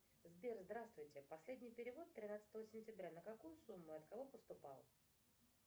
сбер здравствуйте последний перевод тринадцатого сентября на какую сумму от кого поступал